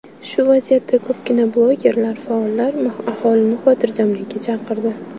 Shu vaziyatda ko‘pgina blogerlar, faollar aholini xotirjamlikka chaqirdi.